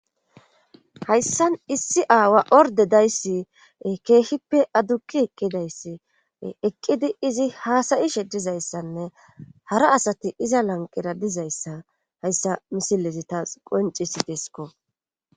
Hayssan issi aawa ordedayssi keehippe addukki eqqidayssi eqqidi izi haasayi sheddizayssanne hara asati iza lanqera dizayssa hayssa misilezi taas qoncisidesko